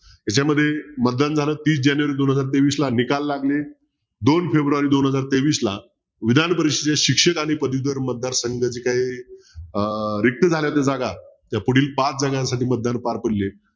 याच्यामध्ये मतदान झालं तीस जानेवारी दोन हजार तेवीसला निकाल लागले दोन फेब्रूवारी दोन हजार तेवीसला विधान परिषदेत शिक्षक आणि पदवीधर मतदार संघ जे काय अं रिक्त झाल्याच्या जागा या पुढील पाच जागांसाठी मतदान पार पडली आहेत